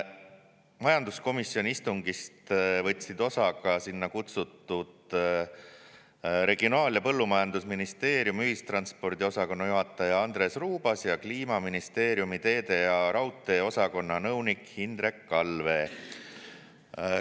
Majanduskomisjoni istungist võtsid osa ka sinna kutsutud Regionaal‑ ja Põllumajandusministeeriumi ühistranspordi osakonna juhataja Andres Ruubas ja Kliimaministeeriumi teede‑ ja raudteeosakonna nõunik Hindrek Allvee.